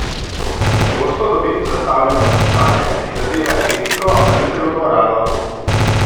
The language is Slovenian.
Pogosto dobim zastavljeno vprašanje, ki zadeva etiko ali celo moralo.